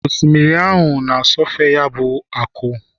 osimiri na-asọfe ya bụ akụ